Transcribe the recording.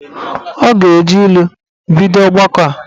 Ọ ga-eji ilu bido ọgbakọ a.